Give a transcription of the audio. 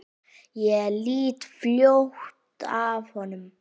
Ég lít fljótt af honum.